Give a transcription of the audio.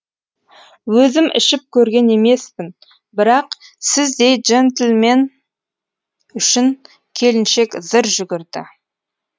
өзім ішіп көрген емеспін бірақ сіздей джентельмен үшін келіншек зыр жүгірді